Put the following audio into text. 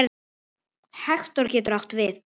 Hektor getur átt við